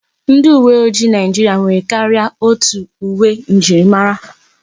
Ndi uwe ojii Naijiria nwere karịa otu uwe njirimara.